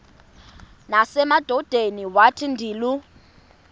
nasemadodeni wathi ndilu